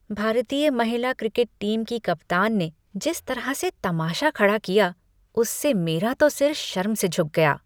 भारतीय महिला cricket team की कप्तान ने जिस तरह से तमाशा खड़ा किया, उससे मेरा तो सिर शर्म से झुक गया।